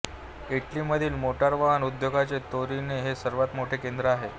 इटलीमधील मोटारवाहन उद्योगाचे तोरिनो हे सर्वात मोठे केंद्र आहे